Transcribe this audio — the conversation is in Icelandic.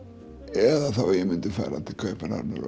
eða þá að ég myndi til Kaupmannahafnar og